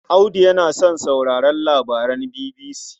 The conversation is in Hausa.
Audu yana son sauraron labaran BBC.